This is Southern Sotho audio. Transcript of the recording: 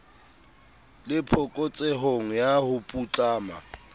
le phokotsehong ya ho putlama